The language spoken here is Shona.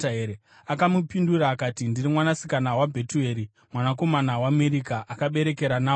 Akamupindura akati, “Ndiri mwanasikana waBhetueri, mwanakomana waMirika akaberekera Nahori.”